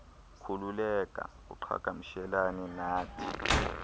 khululeka uqhagamshelane nathi